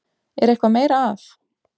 Er eitthvað meira að?